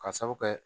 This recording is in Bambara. Ka sabu kɛ